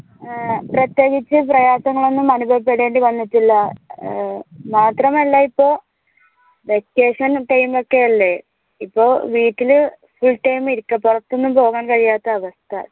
പ്രത്യേകിച്ച് പ്രയാസങ്ങൾ ഒന്നും അനുഭവപ്പെടേണ്ടി വന്നിട്ടില്ല ഏർ മാത്രമല്ല ഇപ്പൊ vacation time ഒക്കെയല്ലേ ഇപ്പോൾ വീട്ടില് full time ഇരിക്ക പോരാത്തതൊന്നും പോകാൻ കഴിയാത്ത അവസ്ഥ